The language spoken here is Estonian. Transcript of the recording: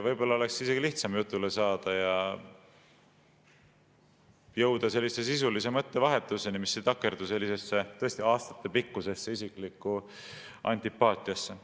Võib-olla oleks lihtsam jutule saada ja jõuda sisulise mõttevahetuseni, mis ei takerdu sellisesse tõesti aastatepikkusesse isiklikku antipaatiasse.